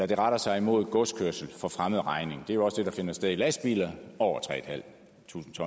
det retter sig mod godskørsel for fremmed regning det er jo også det der finder sted med lastbiler på over tre